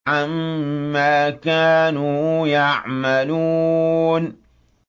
عَمَّا كَانُوا يَعْمَلُونَ